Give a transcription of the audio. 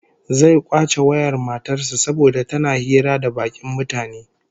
Zai kwace wayar matar sa saboda tana hira da bakin mutane